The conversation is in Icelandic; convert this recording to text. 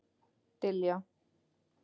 Diljá